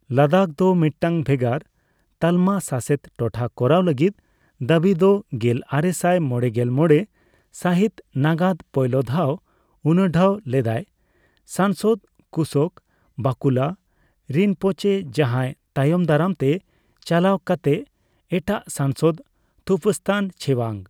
ᱞᱟᱫᱟᱠᱷ ᱫᱚ ᱢᱤᱫᱴᱟᱝ ᱵᱷᱮᱜᱟᱨ ᱛᱟᱞᱢᱟ ᱥᱟᱥᱮᱛ ᱴᱚᱴᱷᱟ ᱠᱚᱨᱟᱣ ᱞᱟᱹᱜᱤᱫ ᱫᱟᱹᱵᱤ ᱫᱚ ᱜᱮᱞ ᱟᱨᱮᱥᱟᱭ ᱢᱚᱲᱮᱜᱮᱞ ᱢᱚᱲᱮ ᱥᱟᱹᱦᱤᱛ ᱱᱟᱜᱟᱫ ᱯᱳᱭᱞᱳ ᱫᱷᱟᱣ ᱩᱱᱩᱰᱷᱟᱹᱣ ᱞᱮᱫᱟᱭ ᱥᱟᱝᱥᱩᱫ ᱠᱩᱥᱳᱠ ᱵᱟᱠᱩᱞᱟ ᱨᱤᱱᱯᱳᱪᱮ, ᱡᱟᱦᱟᱸᱭ ᱛᱟᱭᱚᱢ ᱫᱟᱨᱟᱢ ᱛᱮ ᱪᱟᱞᱟᱣ ᱠᱟᱛᱮᱜ ᱮᱴᱟᱜ ᱥᱟᱝᱥᱚᱫ ᱛᱷᱩᱯᱥᱛᱟᱱ ᱪᱷᱮᱣᱟᱝ ᱾